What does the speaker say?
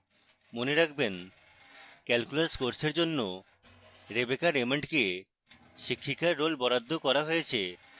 মনে রাখবেন: